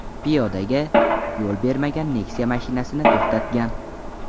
piyodaga yo‘l bermagan Nexia mashinasini to‘xtatgan.